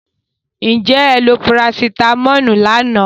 Did you take paracetamol yesterday?